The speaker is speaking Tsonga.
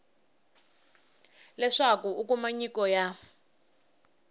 leswaku u kuma nyiko ya